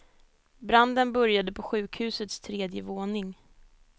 Branden började på sjukhusets tredje våning.